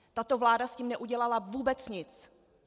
Tato vláda s tím neudělala vůbec nic.